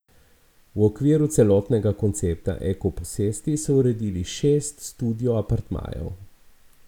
V okviru celotnega koncepta eko posesti so uredili šest studio apartmajev.